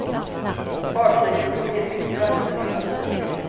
Fartyget tog in mycket vatten i lastutrymmet.